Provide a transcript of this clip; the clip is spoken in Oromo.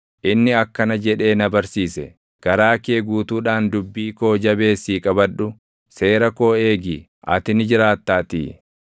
inni akkana jedhee na barsiise; “Garaa kee guutuudhaan dubbii koo jabeessii qabadhu; seera koo eegi; ati ni jiraattaatii.